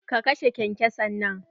Ka kashe kenkesan nan!